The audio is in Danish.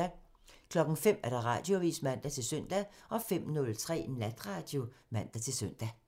05:00: Radioavisen (man-søn) 05:03: Natradio (man-søn)